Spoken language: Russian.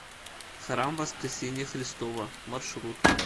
храм воскресения христова маршрут